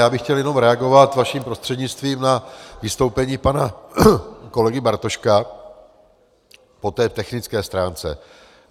Já bych chtěl jenom reagovat vaším prostřednictvím na vystoupení pana kolegy Bartoška po té technické stránce.